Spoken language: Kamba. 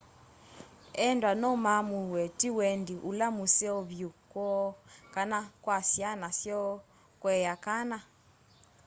endwa no maamũe tĩ wendĩ ũla mũseo vyũ kwoo kana kwa syana syoo kũea kana